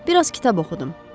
Bir az kitab oxudum.